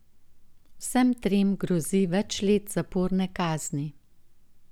Vsem trem grozi več let zaporne kazni.